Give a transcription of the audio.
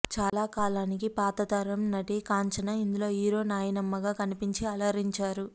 చాలాకాలానికి పాతతరం నటి కాంచన ఇందులో హీరో నాయనమ్మగా కనిపించి అలరించారు